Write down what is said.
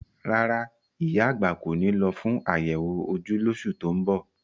Rárá, ìyá àgbà kò ní lọ fún àyẹ̀wò ojú lóṣù tó ń bọ̀.